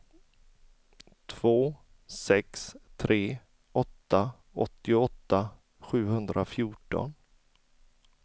två sex tre åtta åttioåtta sjuhundrafjorton